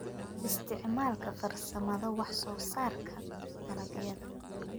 Isticmaalka Farsamada Wax-soosaarka dalagyada.